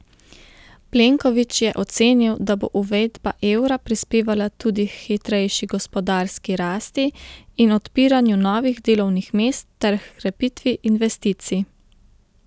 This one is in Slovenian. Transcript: Plenković je ocenil, da bo uvedba evra prispevala tudi k hitrejši gospodarski rasti in odpiranju novih delovnih mest ter h krepitvi investicij.